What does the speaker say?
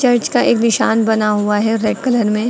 Church का एक निशान बना हुआ है रेड कलर में।